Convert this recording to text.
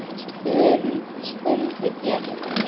spurði Bjarni.